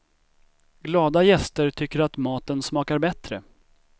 Glada gäster tycker att maten smakar bättre.